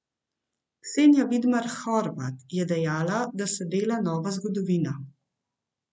Ksenija Vidmar Horvat je dejala, da se dela nova zgodovina.